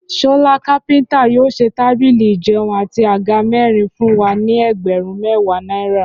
Ṣọlá kápẹ́ntà yóò ṣe tábìlì ìjẹun àti àga mẹ́rin fún wa ní ẹgbẹ̀rún mẹ́wàá náírà